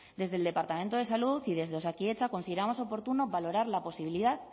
desde el departamento de salud y desde osakidetza consideramos oportuno valorar la posibilidad